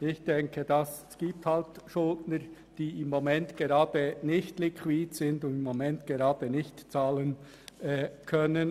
Ich denke, es gibt Schuldner, welche im Moment nicht liquid sind und gerade nicht bezahlen können.